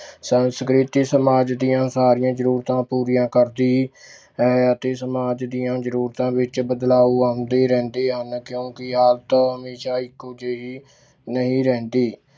ਸੰਸਕ੍ਰਿਤੀ ਸਮਾਜ ਦੀਆਂ ਸਾਰੀਆਂ ਜ਼ਰੂਰਤਾਂ ਪੂਰੀਆਂ ਕਰਦੀ ਹੈ ਅਤੇ ਸਮਾਜ ਦੀਆਂ ਜ਼ਰੂਰਤਾਂ ਵਿੱਚ ਬਦਲਾਵ ਆਉਂਦੇ ਰਹਿੰਦੇ ਹਨ ਕਿਉੁਂਕਿ ਹਾਲਤ ਹਮੇਸ਼ਾ ਇੱਕੋ ਜਿਹੀ ਨਹੀਂ ਰਹਿੰਦੀ।